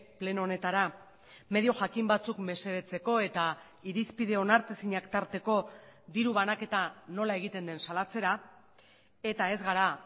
pleno honetara medio jakin batzuk mesedetzeko eta irizpide onartezinak tarteko diru banaketa nola egiten den salatzera eta ez gara